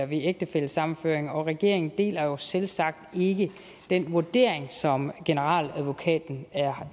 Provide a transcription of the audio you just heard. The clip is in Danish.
ved ægtefællesammenføring og regeringen deler jo selvsagt ikke den vurdering som generaladvokaten er